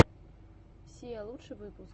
сиа лучший выпуск